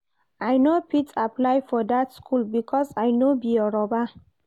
I no fit apply for that school because I no be Yoruba